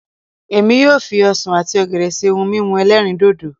Èmi yóò fi ọsàn àti ọ̀gẹ̀dẹ̀ ṣe ohun mímu ẹlẹ́rìndòdò